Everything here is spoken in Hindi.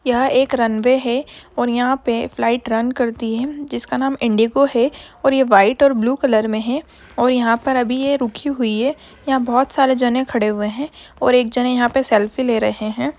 यह एक रन-वे है और यहाँ पे फ्लाइट रन करती है जिस का नाम इंडिगो है और ये व्हाइट और बालू कलर में है और यहाँ पर अभी ये रुकी हुई है यहाँ बहुत सारे जने खड़े हुए हैं और एक जने यहाँ पे सेल्फी ले रहें हैं।